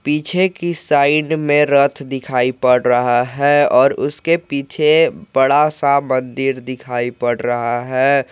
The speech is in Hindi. पीछे की साइड में रात दिखाई पड़ रहा है और उसके पीछे बड़ा सा मंदिर दिखाई पड़ रहा है।